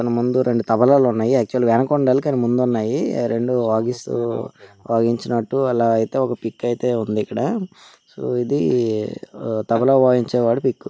మన ముందు రెండు తబలాలు ఉన్నాయి ఆక్చువల్లి అవి వెనక ఉండాలి కానీ ముందు ఉన్నాయి రెండు వాదిస్తూ వాదించినట్టు అలా అయితే ఒక పిక్ ఉంది ఇక్కడ సో ఇది-ది తబలా వాయించే వాడి పిక్.